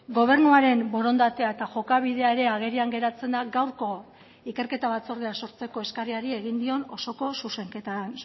gobernuaren borondatea eta jokabidea ere agerian geratzen da gaurko ikerketa batzordea sortzeko eskariari egin dion osoko zuzenketan